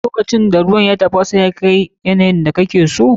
Lokacin da ruwan ya tafasa kuma ya kai yawan da kake so.